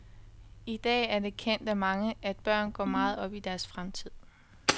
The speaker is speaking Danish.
I dag er det kendt af mange, at børn går meget op i deres fremtid.